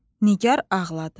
Nigar ağladı.